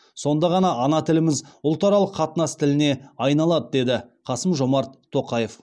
сонда ғана ана тіліміз ұлтаралық қатынас тіліне айналады деді қасым жомарт тоқаев